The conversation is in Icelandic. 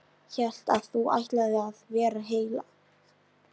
Hélt að þú ætlaðir að vera heilt ár.